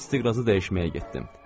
Mən istiqrazı dəyişməyə getdim.